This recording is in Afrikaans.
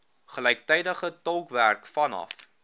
gelyktydige tolkwerk vanaf